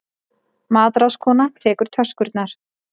Matráðskona tekur töskurnar.